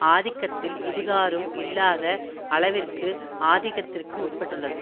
ஆதிக்கத்தில் இதுகாறும் இல்லாத அளவிற்கு ஆதிக்கத்திற்கு உட்பட்டுள்ளது